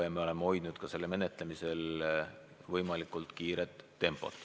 Ja me oleme hoidnud ka selle menetlemisel võimalikult kiiret tempot.